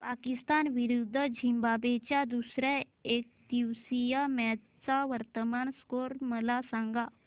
पाकिस्तान विरुद्ध झिम्बाब्वे च्या दुसर्या एकदिवसीय मॅच चा वर्तमान स्कोर मला सांगा